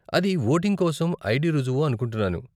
అది వోటింగ్ కోసం ఐడీ రుజువు అనుకుంటున్నాను.